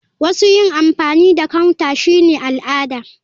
Wasu yin amfani da counter shine al'ada.